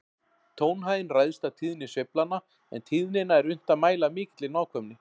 Tónhæðin ræðst af tíðni sveiflanna, en tíðnina er unnt að mæla af mikilli nákvæmni.